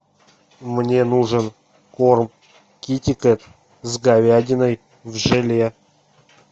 мне нужен корм китикет с говядиной в желе